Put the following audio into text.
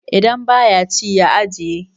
idan ba ya ci ya ajiye?